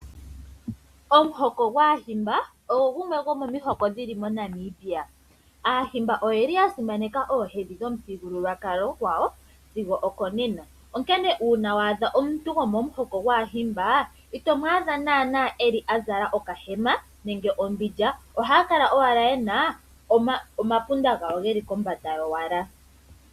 Omuhoko gwAahimba ogo gumwe go momihoko dhili moNamibia. Aahimba oyeli ya simaneka oohedhi dhomithigululwakalo gwawo sigo oko nena. Onkene uuna wa adha omuntu go momuhoko gwAahimba, ito mu adha naana eli a zala okahema nenge ombindja, ohaya kala owala yena omapunda gawo geli kombanda owala.